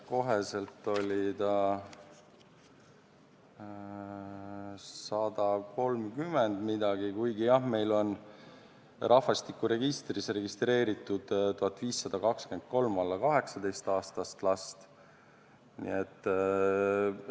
Koheselt oli see 130 ja midagi, kuigi jah, meil on rahvastikuregistris registreeritud 1523 alla 18-aastast last.